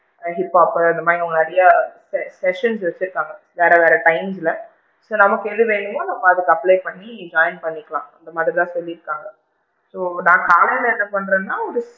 Like hiphop பு இந்த மாதிரி நிறைய session வச்சு இருக்காங்க வேற வேற time ல so நமக்கு எது வேணுமோ நம்ம அதுக்கு apply பண்ணி join பண்ணிக்கலாம் இந்த மாதிரி தான் சொல்லி இருக்காங்க so நான் காலைல என்ன பண்றேனா ஒரு~